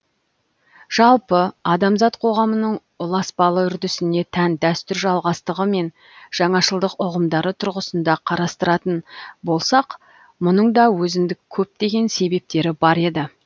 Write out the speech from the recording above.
жалпы адамзат қоғамының ұласпалы үрдісіне тән дәстүр жалғастығы мен жаңашылдық ұғымдары тұрғысында қарастыратын болсақ мұның да өзіндік көптеген себептері бар еді